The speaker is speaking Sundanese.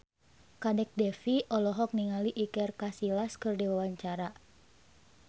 Kadek Devi olohok ningali Iker Casillas keur diwawancara